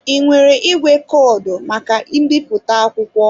Ị nwere igwe kọdụ maka mbipụta akwụkwọ?